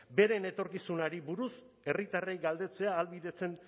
beren etorkizunari buruz herritarrei galdetzea ahalbidetzen